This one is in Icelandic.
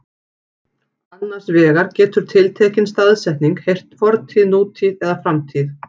Annars vegar getur tiltekin staðsetning tilheyrt fortíð, nútíð eða framtíð.